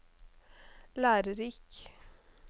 lærerik